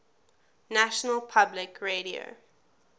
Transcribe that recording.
national public radio